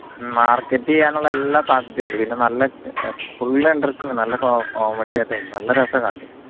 market ചെയ്യാനുള്ള എല്ലാ സാധ്യതയുണ്ട് പിന്നെ നല്ല full interesting നല്ല comedy item നല്ല രസ